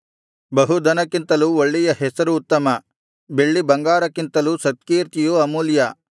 ಬಹುಧನಕ್ಕಿಂತಲೂ ಒಳ್ಳೆಯ ಹೆಸರು ಉತ್ತಮ ಬೆಳ್ಳಿ ಬಂಗಾರಕ್ಕಿಂತಲೂ ಸತ್ಕೀರ್ತಿಯು ಅಮೂಲ್ಯ